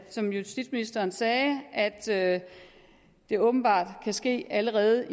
som justitsministeren sagde at det åbenbart kan ske allerede